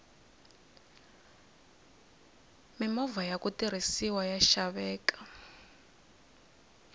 mimovha yaku tirhisiwa ya xaveka